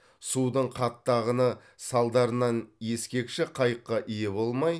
судың қатты ағыны салдарынан ескекші қайыққа ие болмай